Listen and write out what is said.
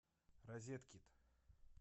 розеткид